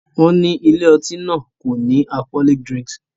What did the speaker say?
Wọ́n ní ilé-ọtí náà kò sin alcholoic dirnks.